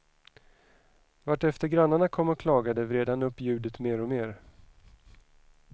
Vartefter grannarna kom och klagade vred han upp ljudet mer och mer.